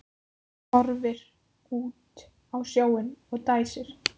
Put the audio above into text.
Horfir út á sjóinn og dæsir.